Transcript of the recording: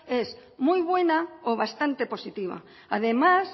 es muy buena o bastante positiva además